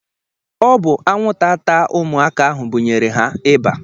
Ọ bụ anwụnta taa ụmụaka ahụ bunyere ha ịba